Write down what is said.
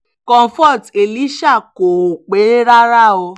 comfort elisha kó o pẹ́ rárá o